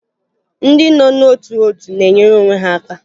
Ndị nọ n'ótù òtù na-enyere onwe ha aka